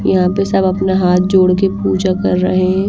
यहाँ पे सब अपना हाथ जोड़ के पूजा कर रहे--